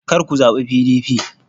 kar ku zaɓi PDP!